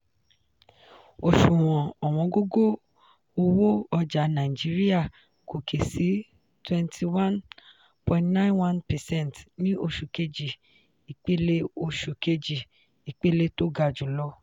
òṣùwọ̀n ọ̀wọ́ngógó owó ọjà nàìjíríà gòkè sí twenty one point nine one percent ní oṣù kejì ipele oṣù kejì ipele tó ga jùlọ.